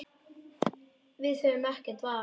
Við höfðum ekkert val.